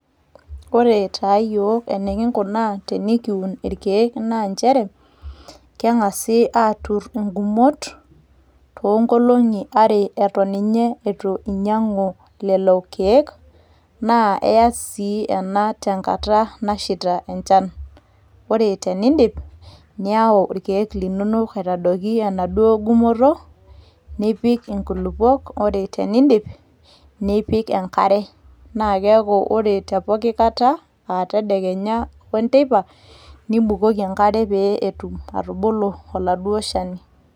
ore taa yiok enikingunaa tenikiun irkeek naa nchere keng'asi aaturr ingumot toonkolong'i are eton ninye eitu iny'iang'u lelo keek naa iyas sii ena tenkata nashaita enchan ore tenindip niyau irkeek linonok atadoiki enaduo gumoto nipik nkulupuok ore tenindip nipik enkare naa keeku ore te poki kata aa tedekenya o enteipa nibukoki enkare pee etum atubulu oladuo shani.